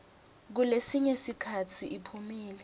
kulesinye sikhatsi iphumile